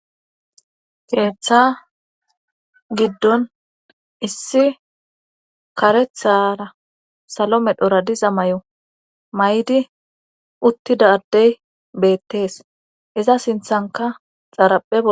Keeththa giddon issi karethara salo medhora diza may7o may7di uttida addey beettees iza sinthanka xaarapheo